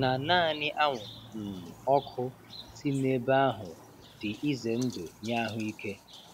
na naanị anwụrụ um ọkụ si n'ebe ahụ dị ize ndụ nye ahụike.